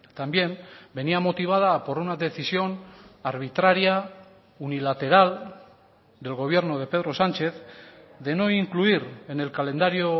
también venía motivada por una decisión arbitraria unilateral del gobierno de pedro sánchez de no incluir en el calendario